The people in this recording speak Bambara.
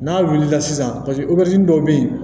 N'a wulila sisan paseke dɔ bɛ yen